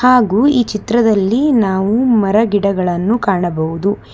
ಹಾಗೂ ಈ ಚಿತ್ರದಲ್ಲಿ ನಾವು ಮರಗಿಡಗಳನ್ನು ಕಾಣಬಹುದು.